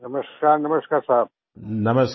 नमस्कार नमस्कार साहब